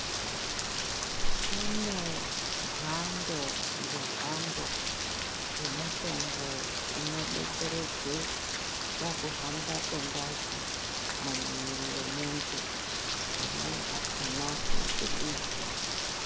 Kune mhando nemhando dzemitombo inodetseredze pakushamba kwengazi mumwiri mwemuntu amweni akona maphilizi.